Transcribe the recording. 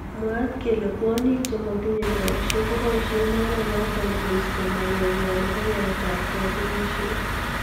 Mwaat kele kwonyik che matinye boishek koboishe oret notok koiste maket nywa nebo yaet ab katunishet.